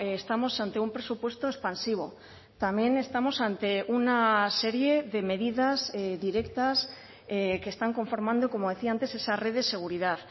estamos ante un presupuesto expansivo también estamos ante una serie de medidas directas que están conformando como decía antes esa red de seguridad